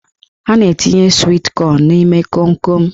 A na-etinye swit kọn n'ime konkon.